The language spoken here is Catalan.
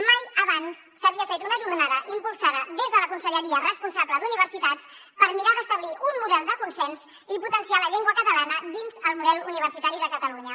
mai abans s’havia fet una jornada impulsada des de la conselleria responsable d’universitats per mirar d’establir un model de consens i potenciar la llengua catalana dins el model universitari de catalunya